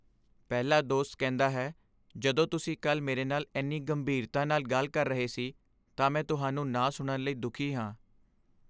ਪਹਿਲਾ ਦੋਸਤ ਕਹਿੰਦਾ ਹੈ, ਜਦੋਂ ਤੁਸੀਂ ਕੱਲ੍ਹ ਮੇਰੇ ਨਾਲ ਇੰਨੀ ਗੰਭੀਰਤਾ ਨਾਲ ਗੱਲ ਕਰ ਰਹੇ ਸੀ ਤਾਂ ਮੈਂ ਤੁਹਾਨੂੰ ਨਾ ਸੁਣਨ ਲਈ ਦੁਖੀ ਹਾਂ